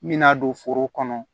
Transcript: Mina don foro kɔnɔ